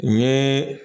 N ye